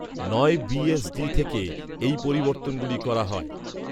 নয় বিএসডি থেকে এই পরিবর্তনগুলি করা হয়